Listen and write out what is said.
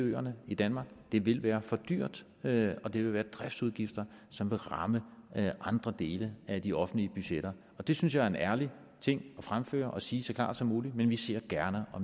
øerne i danmark det vil være for dyrt og det vil være driftsudgifter som vil ramme andre dele af de offentlige budgetter og det synes jeg er en ærlig ting at fremføre og sige så klart som muligt men vi ser gerne på